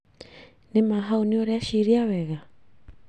Nĩma hau nĩ ũreciria wega?